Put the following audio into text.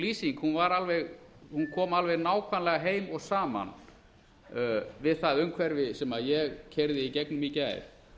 lýsing kom alveg nákvæmlega heim og saman við umhverfi sem ég keyrði í gegnum í gær